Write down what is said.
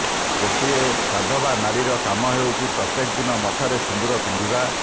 ଗୋଟେ ସଧବା ନାରୀର କାମ ହେଉଛି ପ୍ରତ୍ୟକ ଦିନ ମଥାରେ ସିନ୍ଦୂର ପିନ୍ଧିବା